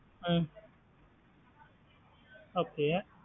ஹம் okay.